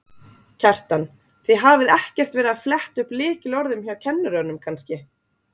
Kjartan: Þið hafið ekkert verið að fletta upp lykilorðum hjá kennurum kannski?